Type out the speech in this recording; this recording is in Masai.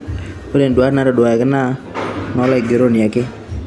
Ore nduat naitodoluaki na noolaigeroni ake.